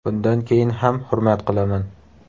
Bundan keyin ham hurmat qilaman.